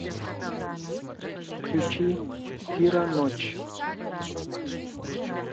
включи фира ночь